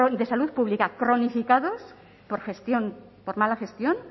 de salud pública cronificados por gestión por mala gestión